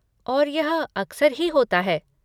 और यह अक्सर ही होता है।